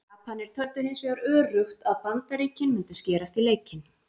Japanar töldu hins vegar öruggt að Bandaríkin mundu skerast í leikinn.